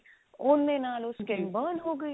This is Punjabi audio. ਉਹਦੇ ਨਾਲ ਉਹ skin ਲਾਲ ਹੋ ਗਈ